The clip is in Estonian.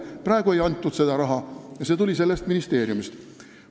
Praegu ei antud seda raha ja see otsus tuli sellest ministeeriumist.